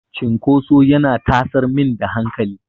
Cinkoso yana tasar min da hankali.